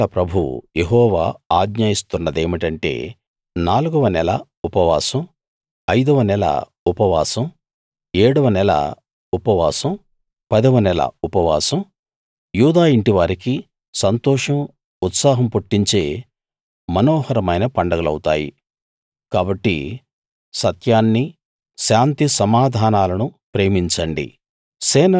సేనల ప్రభువు యెహోవా ఆజ్ఞ ఇస్తున్నదేమిటంటే నాలుగవ నెల ఉపవాసం ఐదవ నెల ఉపవాసం ఏడవ నెల ఉపవాసం పదవ నెల ఉపవాసం యూదా యింటివారికి సంతోషం ఉత్సాహం పుట్టించే మనోహరమైన పండగలౌతాయి కాబట్టి సత్యాన్ని శాంతిసమాధానాలును ప్రేమించండి